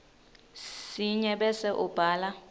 sinye bese ubhala